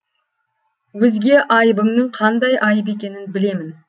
өзге айыбыңның қандай айып екенін білемін